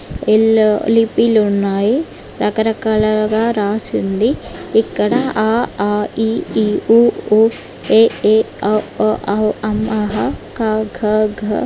Yellow లిపిలు ఉనాయి .రకరకాలుగా రాసి ఉంది. ఇక్కడ అ ఆ ఇ ఈ ఉ ఊ ఎ ఏ ఒ ఓ ఔ అం అః క కా గ గా--